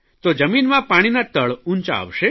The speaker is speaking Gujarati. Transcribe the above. તો જમીનમાં પાણીનાં તળ ઉંચાં આવશે